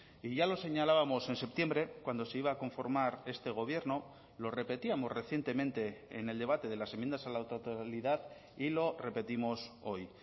y ya lo señalábamos en septiembre cuando se iba a conformar este gobierno lo repetíamos recientemente en el debate de las enmiendas a la totalidad y lo repetimos hoy